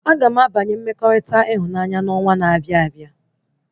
Agam abanye mmekọrịta ịhụnanya na onwa na-abịa